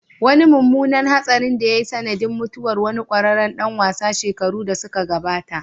Wani mummunan hatsarin da ya yi sanadin mutuwar wani kwararren dan wasa shekaru da suka gabata